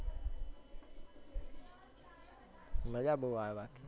મજ્જા બો આવે બાકી